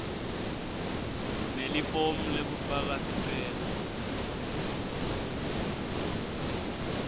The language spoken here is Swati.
nelifomu lekufaka sicelo